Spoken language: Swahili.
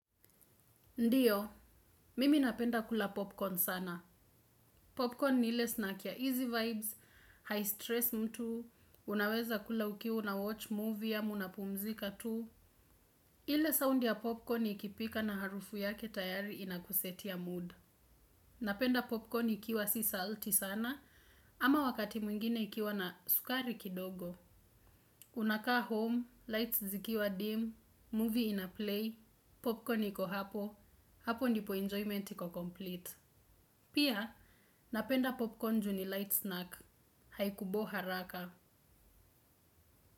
Ndiyo, mimi napenda kula popcorn sana. Popcorn ni ile snack ya easy vibes, hai stress mtu, unaweza kula ukiwa una watch movie ama unapumzika tu. Popcorn ni ile snack ya easy vibes, hai stress mtu, unaweza kula ukiwa una watch movie ama unapumzika tu. Ile sound ya popcorn ikipika na harufu yake tayari inakusetia mood. Napenda popcorn ikiwa si salty sana ama wakati mwingine ikiwa na sukari kidogo. Unaka home, lights zikiwa dim, movie inaplay, popcorn iko hapo, hapo ndipo enjoyment iko complete.